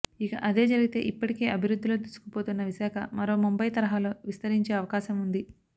ఇక అదే జరిగితే ఇప్పటికే అభివృద్ధిలో దూసుకుపోతున్న విశాఖ మరో ముంబై తరహాలో విస్తరించే అవకాశం ఉంది